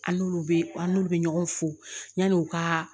An n'olu bɛ an n'olu bɛ ɲɔgɔn fo yanni u ka